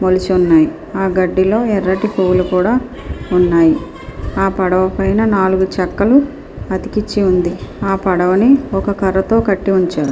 మొలిచి ఉన్నాయి ఆ గడ్డిలో ఎర్రటి పువ్వులు కూడా ఉన్నాయి ఆ పడవ పైన నాలుగు చెక్కలు అతికించి ఉంది ఆ పడవని ఒక కర్రతో కట్టి ఉంచా --